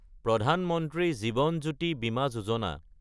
প্ৰধান মন্ত্ৰী জীৱন জ্যোতি বিমা যোজনা